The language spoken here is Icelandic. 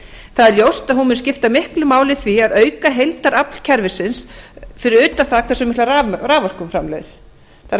það er ljóst að hún mun skipta miklu máli í því að auka heildarafl kerfisins fyrir utan það hversu mikla raforku hún framleiðir það